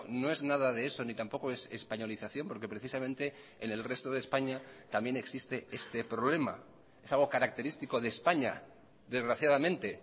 no es nada de eso ni tampoco es españolización porque precisamente en el resto de españa también existe este problema es algo característico de españa desgraciadamente